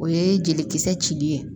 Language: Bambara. O ye jelikisɛ cili ye